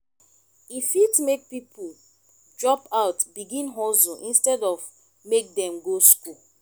e fit make pipo drop out begin hustle instead of make dem go school